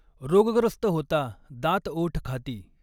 रोगग्रस्त होता दांतओठ खाती।